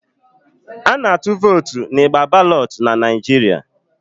A na-atụ votu n'igba balotu n'Naijiria